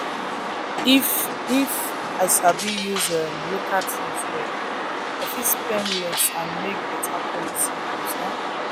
if if i sabi use um local things well i fit spend less and still make better quality goods. um